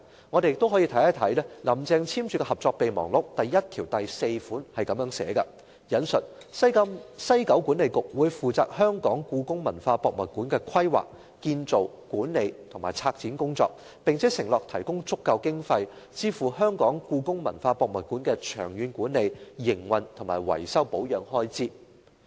我們可以看看"林鄭"簽署的《合作備忘錄》，第一1條第4款是這樣寫的，"西九管理局會負責香港故宮文化博物館的規劃、建造、管理及策展工作，並承諾提供足夠經費，支付香港故宮文化博物館的長遠管理、營運和維修保養開支"。